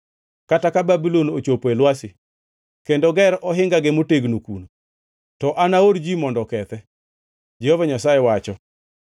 Kata ka Babulon ochopo e lwasi kendo ger ohingage motegno kuno, to anaor ji mondo okethe,” Jehova Nyasaye wacho.